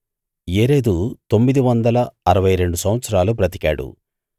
యెరెదు తొమ్మిది వందల అరవై రెండు సంవత్సరాలు బ్రతికాడు